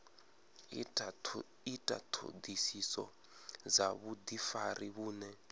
ita ṱhoḓisiso dza vhuḓifari vhune